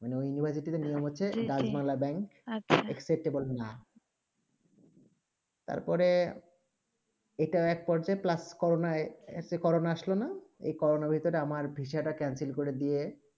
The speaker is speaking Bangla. মানে ওই university তে নিয়ম হচ্ছেই acceptable না তার পরে এইটা এক পড়ছে করনে plus corona এই করোনা আসলে না এই করোনা বেত তা আমার ভিসা তা cancel কর দিয়ে